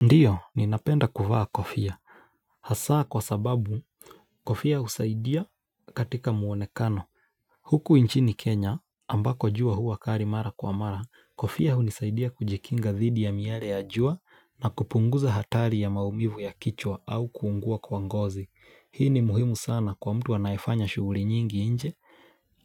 Ndiyo, ninapenda kuvaa kofia hasaa kwa sababu, kofia husaidia katika muonekano. Huku inchini Kenya, ambako jua hua kari mara kwa mara, kofia hunisaidia kujikinga dhidi ya miare ya jua na kupunguza hatari ya maumivu ya kichwa au kuungua kwa ngozi. Hii ni muhimu sana kwa mtu anayefanya shughuli nyingi inje